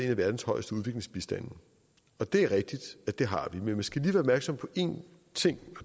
af verdens højeste udviklingsbistande og det er rigtigt at det har vi men man skal opmærksom på en ting og